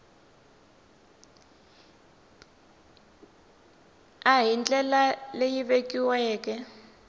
b hi ndlela leyi vekiweke